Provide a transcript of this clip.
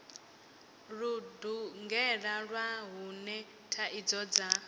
ludungela lwa hune thaidzo dza